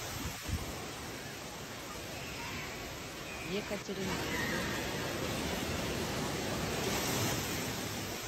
екатеринбурга